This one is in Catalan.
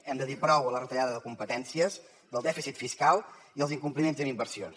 hem de dir prou a la retallada de competències al dèficit fiscal i als incompliments en inversions